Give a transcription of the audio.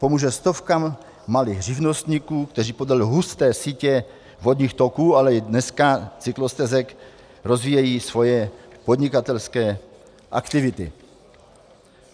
Pomůže stovkám malých živnostníků, kteří podle husté sítě vodních toků, ale dneska i cyklostezek rozvíjejí svoje podnikatelské aktivity.